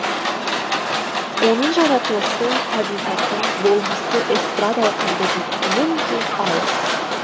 оның жаратылысы табиғаты болмысы эстрадалық әндерден мүлде алыс